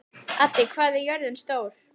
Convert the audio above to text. Addi, hvað er jörðin stór?